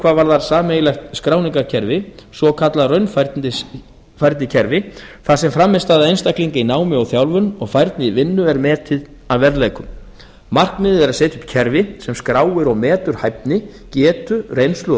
hvað varðar sameiginlegt skráningarkerfi svokallað raunfærnikerfi þar sem frammistaða einstaklinga í námi og þjálfun og færni í vinnu er metið að verðleikum markmiðið er að setja upp kerfi sem skráir og metur hæfni getu reynslu